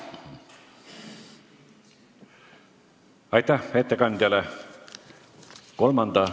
Aitäh ettekandjale!